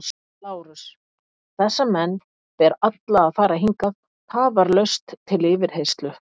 LÁRUS: Þessa menn ber alla að færa hingað tafarlaust til yfirheyrslu.